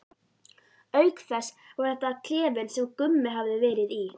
Auk þess var þetta klefinn sem Gummi hafði verið í.